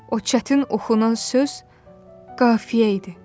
O çətin oxunan söz qafiyə idi.